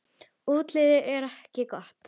Útlitið er ekki gott.